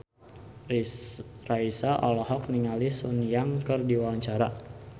Raisa olohok ningali Sun Yang keur diwawancara